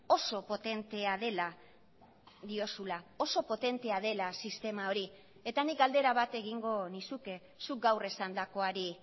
oso potentea dela diozula oso potentea dela sistema hori eta nik galdera bat egingo nizuke zuk gaur esandakoari